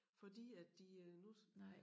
Fordi at de øh nu